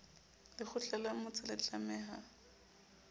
lekgotla la motse le tlameha